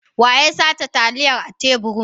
Wa ya sace taliyan a teburin?